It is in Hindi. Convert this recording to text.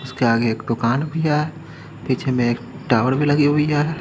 इसके आगे एक दुकान भी है पीछे मे एक टावर भी लगी हुई है।